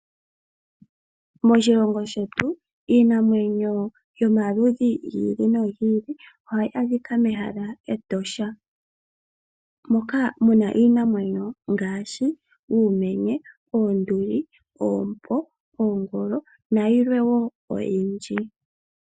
Moshilongo shetu iinamwenyo yomaludhi gi ili nogi ili ohayi adhika mEtosha moka muna iinamwenyo ngaashi uumenye, oonduli, oompo, oongolo nayilwe wo oyindji.